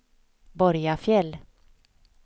Borgafjäll